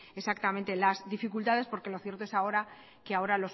exactamente las dificultades porque lo cierto es que ahora